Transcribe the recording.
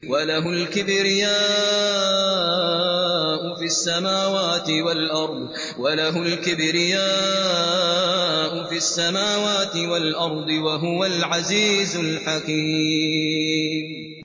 وَلَهُ الْكِبْرِيَاءُ فِي السَّمَاوَاتِ وَالْأَرْضِ ۖ وَهُوَ الْعَزِيزُ الْحَكِيمُ